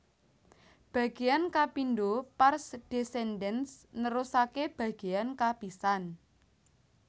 Bagéyan kapindho pars descendens nerusaké bagéyan kapisan